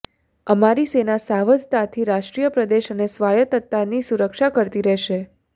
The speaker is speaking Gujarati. અમારી સેના સાવધતાથી રાષ્ટ્રીય પ્રદેશ અને સ્વાયતત્તાની સુરક્ષા કરતી રહેશે